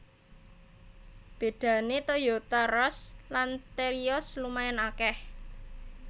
Bedané Toyota Rush lan Terios lumayan akèh